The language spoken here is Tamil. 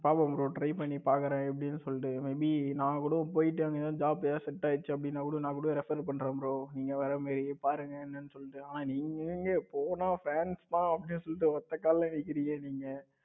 பாப்போம் bro try பண்ணி பாக்குறேன் எப்படின்னு சொல்லிட்டு may be நான் கூட போயிட்டு அங்க ஏதாவது set ஆயிருச் அப்படினா கூட நான் கூட refer பண்றேன் bro. நீங்க வர்ற மாதிரி பாருங்க என்னன்னு சொல்லிட்டு ஆனா நீங்க எங்க போனா france தான் அப்படின்னு சொல்லிட்டு ஒத்த கால நிக்கிறீங்க நீங்க